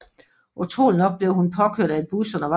Utroligt nok blev hun påkørt af en bus undervejs